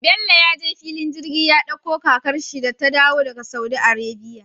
Bello ya je fillin jirgi ya ɗakko kakar shi da ta dayo daka saudi arabia